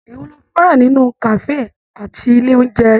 Èwo ló fẹràn nínú kafe àti ilé oúnjẹ nlá?